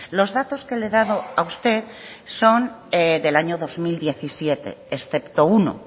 los datos que le he dado a usted son del año dos mil diecisiete excepto uno